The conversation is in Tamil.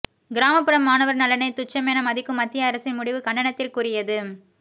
கிராமப்புற மாணவர் நலனை துச்சமென மதிக்கும் மத்திய அரசின் முடிவு கண்டனத்திற்குரியது